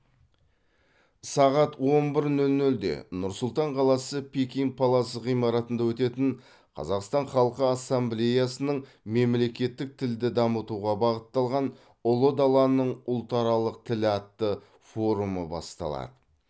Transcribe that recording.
сағат он бір нөл нөлде нұр сұлтан қаласы пекин палас ғимаратында өтетін қазақстан халқы ассамблеясының мемлекеттік тілді дамытуға бағытталған ұлы даланың ұлтаралық тілі атты форумы басталады